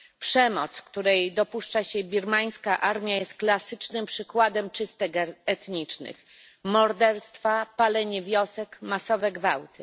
Przemoc, której dopuszcza się birmańska armia, jest klasycznym przykładem czystek etnicznych morderstwa, palenie wiosek, masowe gwałty.